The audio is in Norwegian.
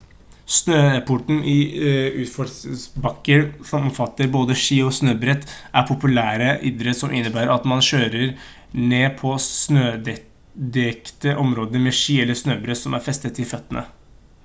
snøsporten i utforbakker som omfatter både ski og snøbrett er populære idretter som innebærer at man kjører ned på snødekte områder med ski eller snøbrett som er festet til føttene